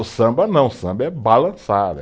O samba não, o samba é